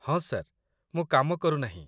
ହଁ, ସାର୍ ମୁଁ କାମ କରୁନାହିଁ